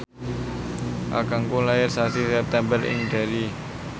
kakangku lair sasi September ing Derry